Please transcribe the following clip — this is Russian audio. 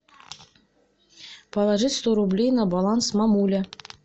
положи сто рублей на баланс мамуля